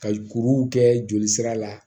Ka kuruw kɛ jolisira la